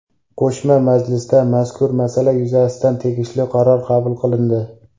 Qo‘shma majlisda mazkur masala yuzasidan tegishli qaror qabul qilindi.